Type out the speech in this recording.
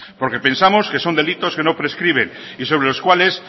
porque pensamos que son delitos que no prescriben y sobre los cuales